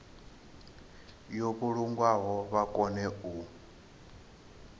yo vhulungwaho vha kone u